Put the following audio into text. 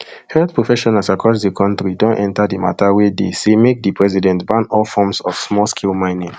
health professionals across di kontri don enta di mata wia dey say make di president ban all forms of smallscale mining